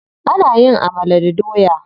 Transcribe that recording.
Ana yin amala da doya.